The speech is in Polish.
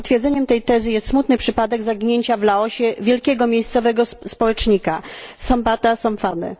Potwierdzeniem tej tezy jest smutny przypadek zaginięcia w Laosie wielkiego miejscowego społecznika Sombatha Somphone'a.